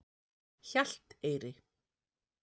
Hjalteyri